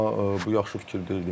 Amma bu yaxşı fikir deyildi.